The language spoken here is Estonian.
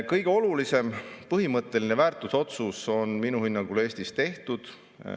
Kõige olulisem, põhimõtteline väärtusotsus on minu hinnangul Eestis tehtud.